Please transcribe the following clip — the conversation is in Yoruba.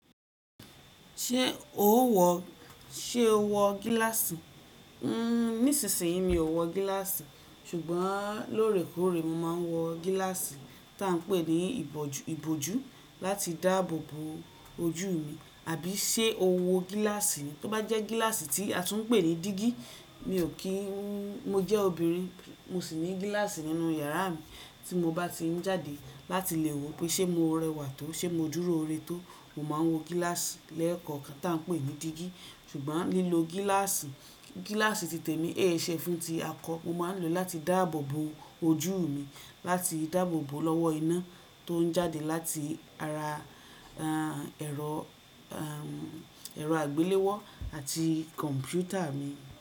Ṣé o wọ, ṣe o wọ gíláàsì? Nísinsìnyí mi ò wọ gíláàsì, ṣùgbọ́n lóòrèkóòrè mo máa ń wọ gíláàsì tí à ń pè ní ìbọ̀jú, ìbòjú láti dáàbò bo ojú mi. Àbí ṣe o wọ gíláàsì tó bá jẹ́ gíláàsì tí a tún ń pè ní jígí? Mi ò kí n-- mo jẹ́ obìnrin, mo sì ní gíláàsì nínú yàrá mi tí mo bá ti ń jáde láti lè wò pé ṣe mo rẹwà tó, ṣe mo dúró ire tó, mo máa ń wọ gíláàsì lẹ́ẹ̀kọ̀kan tí à ń pè ní dígí. Ṣùgbọ́n lílo gíláàsì, gíláàsì ti tèmi ẹ́ṣẹ́ fún ti a kọ, mo máa ń lò ó láti dáàbò bo ojú mi, láti dáàbò bo lọ́wọ́ iná tó ń jáde láti ara, ẹrọ, ẹrọ àgbéléwọ́ àti kọ̀m̀pútà mi.